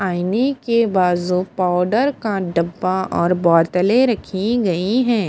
आईने के बाजू पाउडर का डब्बा और बोतलें रखी गई हैं।